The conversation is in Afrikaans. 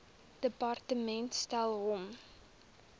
departement stel hom